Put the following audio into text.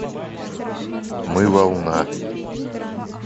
мы волна